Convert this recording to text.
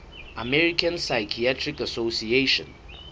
american psychiatric association